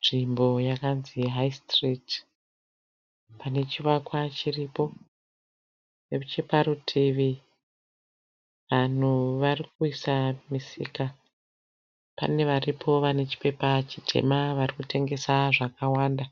Nzvimbo yakanzi "High street " pane chivakwa chiripo. Necheparutivi vanhu varikuisa misika. Pane varipo vane chipepa chitema varikutengesa zvakawanda.